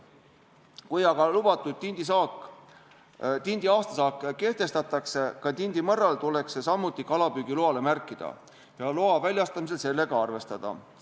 Kui aga lubatud tindi aastasaak kehtestatakse, siis ka tindimõrra puhul tuleks see kalapüügiloale märkida ja loa väljastamisel sellega arvestada.